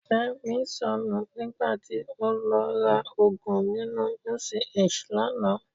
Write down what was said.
Fẹ́mi sọnù nígbà tí ó lọ ra òògùn nínú UCH lánàá.